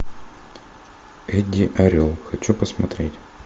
эдди орел хочу посмотреть